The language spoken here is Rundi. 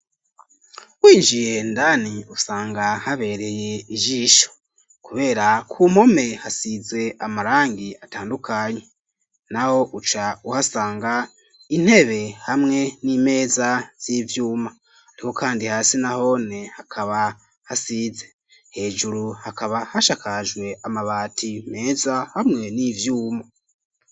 Winjiye indani usanga habereye ijisho kubera kumpome hasize amarangi atandukanye, naho uca uhasanga intebe hamwe n'imeza z'ivyuma hariho kandi hasi nahone hakaba hasize, hejuru hakaba hashakajwe amabati meza hamwe n'ivyuma.